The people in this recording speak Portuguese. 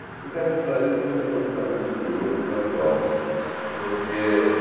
O ingresso no jornalismo foi absolutamente curioso e casual, porque